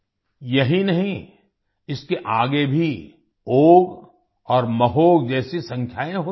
यही नहीं इसके आगे भी ओघ और महोघ जैसी संख्याएँ होती हैं